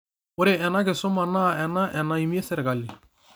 Ore ena kisuma naa ena enaimie sirkali